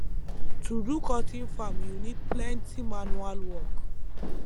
to do cotton farm u need plenty manual work